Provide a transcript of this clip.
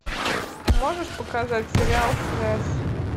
можешь показать сериал связь